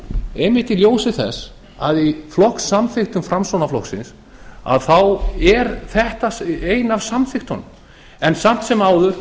einmitt í ljósi þess að í flokkssamþykktum framsóknarflokksins er þetta ein af samþykktunum samt sem áður